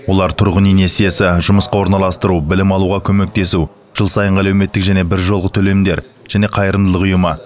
олар тұрғын үй несиесі жұмысқа орналастыру білім алуға көмектесу жыл сайынғы әлеуметтік және біржолғы төлемдер және қайырымдылық ұйымы